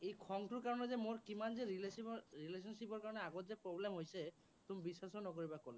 এই খংটোৰ কাৰণে যে মোৰ কিমান যে relation ৰ relationship ৰ কাৰণে আগত যে problem হৈছে, তুমি বিশ্বাসে নকৰিবা, ক'লে